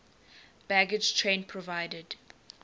baggage train provided